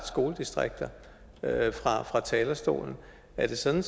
skoledistrikter fra talerstolen er det sådan